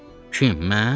Kim, mən?